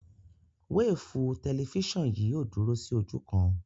Wéèfù tẹlifísàn yìí ò dúró sí ojú kan